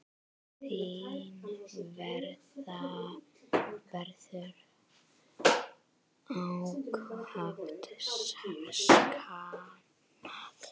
Þín verður ákaft saknað.